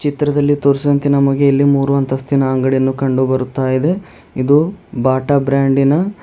ಚಿತ್ರದಲ್ಲಿ ತೋರಿಸಿದಂತೆ ನಮಗೆ ಇಲ್ಲಿ ಮೂರು ಅಂತಸ್ತಿನ ಅಂಗಡಿಯನ್ನು ಕಂಡು ಬರುತ್ತಾ ಇದೆ ಇದು ಬಾಟಾ ಬ್ರಾಂಡಿನ--